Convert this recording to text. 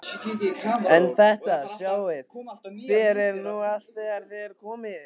En þetta sjáið þér nú allt þegar þér komið.